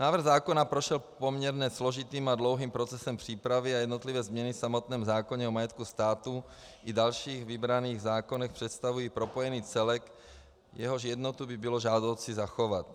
Návrh zákona prošel poměrně složitým a dlouhým procesem přípravy a jednotlivé změny v samotném zákoně o majetku státu i dalších vybraných zákonech představují propojený celek, jehož jednotu by bylo žádoucí zachovat.